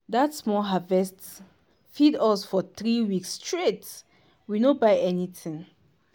dat small harvest feed us for three weeks straight we no buy anything.